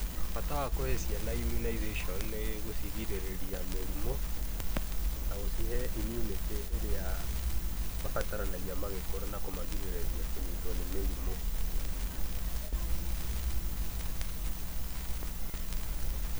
Bata wa kũhe ciana immunization nĩ gũcirigĩrĩria mĩrimũ na gũcihe immunity ĩrĩa mabataranagia magĩkũra, na kũmagirĩrĩria kũnyitwo nĩ mĩrimũ.